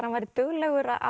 hann væri duglegur að